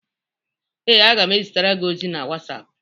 Ee, m ga-ezitere gị ozi na WhatsApp